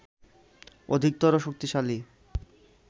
অধিকতর শক্তিশালী